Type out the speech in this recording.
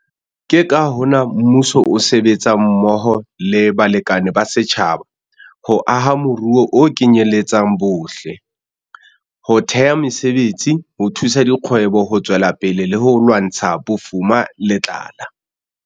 Ke ka hona mmuso o sebetsang mmoho le balekane ba setjhaba ho aha moruo o kenyeletsang bohle, ho theha mesebetsi, ho thusa dikgwebo ho tswela pele le ho lwantsha bofuma le tlala.